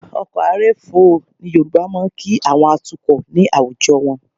Ọkọ̀ a rèfó ni Yorùbá máa ń kí àwọn atukọ̀ ní àwùjọ wọn